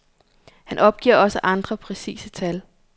Han opgiver også andre præcise tal.